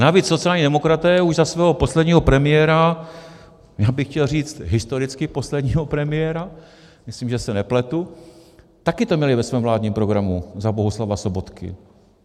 Navíc sociální demokraté už za svého posledního premiéra - já bych chtěl říct, historicky posledního premiéra, myslím, že se nepletu - taky to měli ve svém vládním programu za Bohuslava Sobotky.